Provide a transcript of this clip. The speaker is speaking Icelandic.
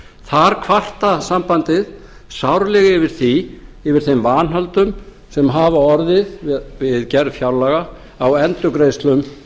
þar kvartar sambandið sárlega yfir þeim vanhöldum sem hafa orðið verið gerð fjárlaga á endurgreiðslum